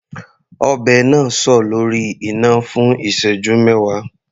Ọbẹ̀ náà sọ lórí iná fún ìṣẹ́jú mẹwa.